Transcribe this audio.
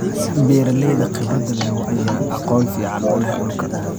Beeralayda khibradda leh ayaa aqoon fiican u leh dhulka.